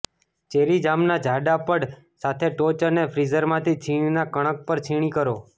cherry જામના જાડા પડ સાથે ટોચ અને ફ્રીઝરમાંથી છીણીના કણક પર છીણી કરો